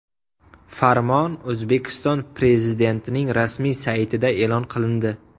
Farmon O‘zbekiston Prezidentining rasmiy saytida e’lon qilindi .